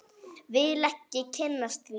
Vil ekki kynnast því.